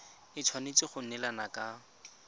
e tshwanetse go neelana ka